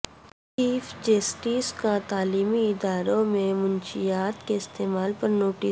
chief justice کا تعلیمی اداروں میں منشیات کےاستعمال پرنوٹس